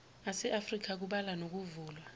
aseafrika kubala nokuvulwa